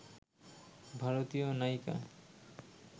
ভারতীয় নায়িকা